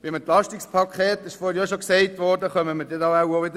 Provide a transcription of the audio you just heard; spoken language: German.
Bei der Diskussion um das Entlastungspaket werden wir darauf zurückkommen.